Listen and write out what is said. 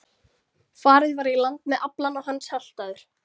Farið var í land með aflann og hann saltaður.